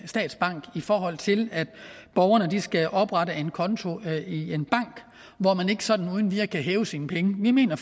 statsbank i forhold til at borgerne skal oprette en konto i en bank hvor man ikke sådan uden videre kan hæve sine penge vi mener